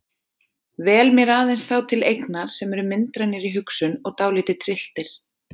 Vel mér aðeins þá til eignar sem eru myndrænir í hugsun og dálítið trylltir.